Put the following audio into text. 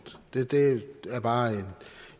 det bare